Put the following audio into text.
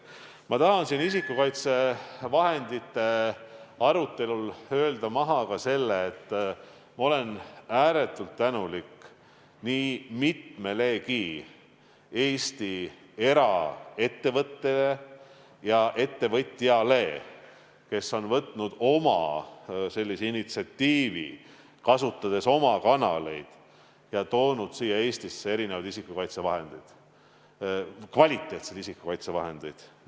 Ma tahan siin isikukaitsevahendite arutelul öelda välja ka selle, et ma olen ääretult tänulik nii mitmelegi Eesti eraettevõttele ja eraettevõtjale, kes on näidanud üles initsiatiivi ja kasutades oma kanaleid toonud Eestisse sisse kvaliteetsed isikukaitsevahendid.